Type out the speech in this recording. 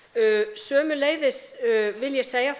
sömuleiðis vil ég segja